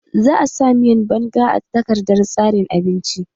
Za a sa miyan banga a takardar tsarin abinci